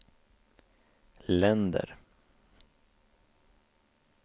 länder